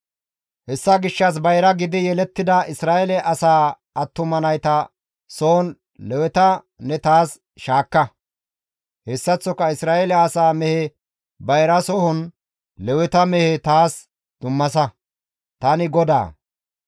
«Hessa gishshas bayra giidi yelettida Isra7eele asaa attuma nayta sohon Leweta ne taas shaakka; hessaththoka Isra7eele asaa mehe bayra sohon Leweta mehe taas dummasa; tani GODAA.